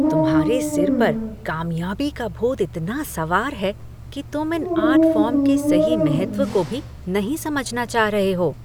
तुम्हारे सिर पर कामयाबी का भूत इतना सवार है कि तुम इन आर्ट फॉर्म के सही महत्व को भी नहीं समझना चाह रहे हो।